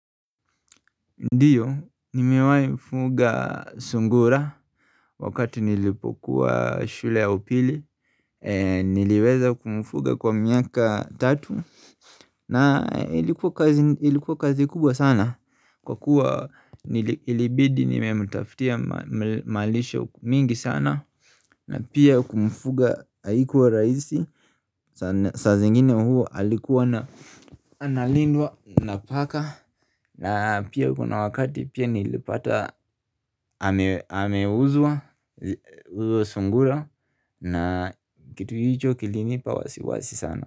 Ndiyo nimewai mfuga sungura Wakati nilipokuwa shule ya upili niliweza kumfuga kwa miaka tatu na ilikuwa kazi kubwa sana kwa kuwa ilibidi nimemutaftia malisho mingi sana na pia kumfuga haikuwa raisi Sazengine huo halikuwa na Analindwa napaka na pia kuna wakati pia nilipata amewuzua huyo sungula na kitu hicho kilinipa wasiwasi sana.